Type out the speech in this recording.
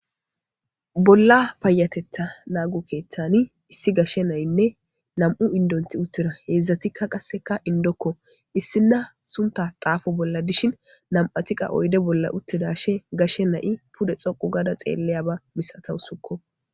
Bolla payatetha naagu keeththani issi gashshe nayinne nam7u indonti uttira heedzdzatikka qasseka indokko issinna sunta xaafo bolla dishin nam7atiqa oyde bolla uttidashe gashe nayi pude xoqu gada xeelleya ba misatawu sukko.